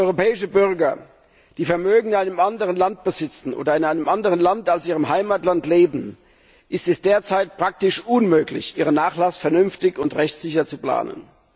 Für europäische Bürger, die Vermögen in einem anderen Land besitzen oder in einem Land als ihrem Heimatland leben, ist es derzeit praktisch unmöglich, ihren Nachlass vernünftig und rechtssicher zu planen.